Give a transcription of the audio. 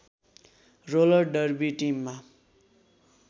roller derby टिममा